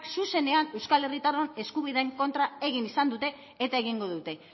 zuzenean euskal herritarron eskubideen kontra egin izan dute eta egingo dute